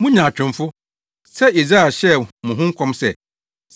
Mo nyaatwomfo! Sɛ Yesaia hyɛɛ mo ho nkɔm sɛ,